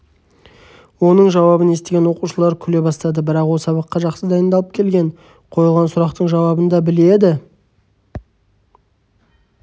оның жауабын естіген оқушылар күле бастады бірақ ол сабаққа жақсы дайындалып келген қойылған сұрақтың жауабын да біледі